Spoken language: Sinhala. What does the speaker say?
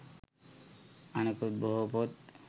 අනෙකුත් බොහෝ පොත්